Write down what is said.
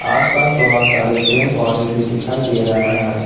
आस पास बहुत सारे पेड़ पौधें भी दिखाई दे रहा है।